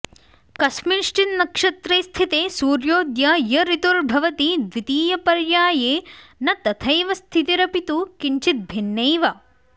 कस्मिश्चिन्नक्षत्रे स्थिते सूर्येऽद्य य ऋतुर्भवति द्वितीयपर्याये न तथैव स्थितिरपि तु किञ्चिद्भिन्नैव